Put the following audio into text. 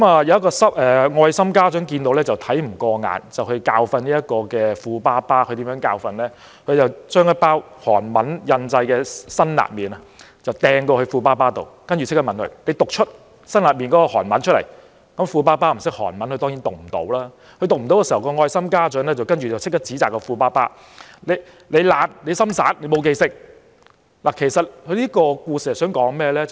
有一位愛心家長看不過眼，教訓這名富爸爸，他將一包包裝上印有韓文的辛辣麵拋到富爸爸手中，要求他立即讀出包裝上的韓文，富爸爸不懂韓文，當然未能讀出，愛心家長隨即指責富爸爸懶惰、不專心、沒有用心記住，其實這故事想說甚麼？